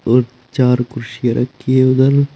और चार कुर्सियां रखी है उधर।